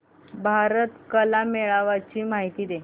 भारत कला मेळावा ची माहिती दे